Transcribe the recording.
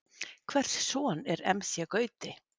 Hvers son er Emmsjé Gauti?